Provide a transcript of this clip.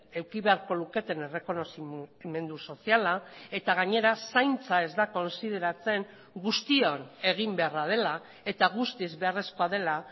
eduki beharko luketen errekonozimendu soziala eta gainera zaintza ez da kontsideratzen guztion egin beharra dela eta guztiz beharrezkoa dela